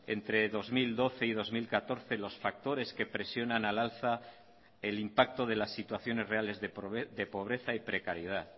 entre dos mil doce y dos mil catorce los factores que presionan al alza el impacto de las situaciones reales de pobreza y precariedad